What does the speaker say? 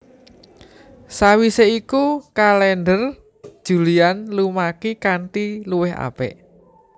Sawisé iku kalèndher Julian lumaki kanthi luwih apik